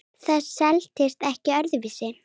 Það selst ekkert öðru vísi.